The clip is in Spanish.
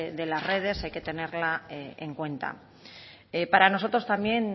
de las redes hay que tenerla en cuenta para nosotros también